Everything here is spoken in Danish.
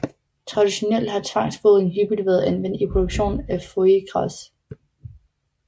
Traditionelt har tvangsfodring hyppigt været anvendt i produktionen af foie gras